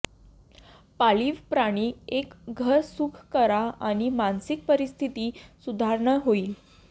पाळीव प्राणी एक घर सुख करा आणि मानसिक परिस्थिती सुधारणा होईल